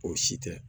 O si tɛ